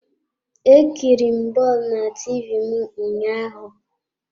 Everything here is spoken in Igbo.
E kiriri m bọọlụ na TV m ụnyaahụ.